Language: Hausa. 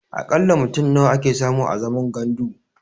A ƙalla mutum nawa ake samu a zaman gandu?